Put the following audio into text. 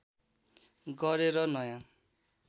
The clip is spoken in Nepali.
गरेर नयाँ